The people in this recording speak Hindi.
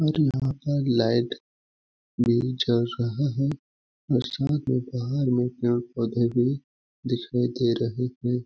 और यहाँ पर लाइट भी जल रहा है और साथ में बाहर लोग पेड़ पौधे भी दिखाई दे रहे हैं।